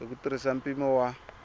hi ku tirhisa mpimo wa